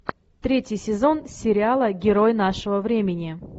третий сезон сериала герой нашего времени